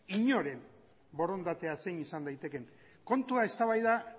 inoren borondatea zein izan daitekeen kontua eztabaida